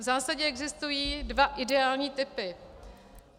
V zásadě existují dva ideální typy.